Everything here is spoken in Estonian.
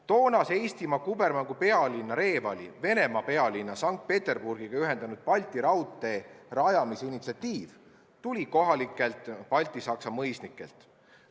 Toonase Eestimaa kubermangu pealinna Revalit Venemaa pealinna Sankt-Peterburgiga ühendanud Balti raudtee rajamise initsiatiiv tuli kohalikelt baltisaksa mõisnikelt.